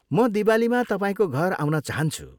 म दिवालीमा तपाईँको घर आउन चाहन्छु।